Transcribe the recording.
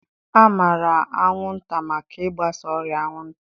A maara anwụnta maka ịgbasa ọrịa anwụnta.